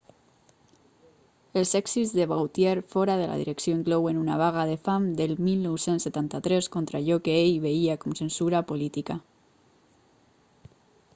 els èxits de vautier fora de la direcció inclouen una vaga de fam del 1973 contra allò que ell veia com censura política